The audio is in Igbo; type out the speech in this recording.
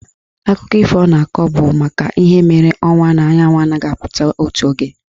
Akụkọ ifo ọ na-akọ bụ maka ihe mere ọnwa na anyanwụ anaghị apụta otu oge.